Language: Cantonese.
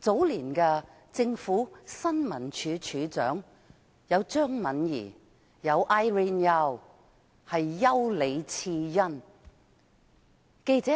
早年的新聞處處長，有張敏儀及丘李賜恩，記者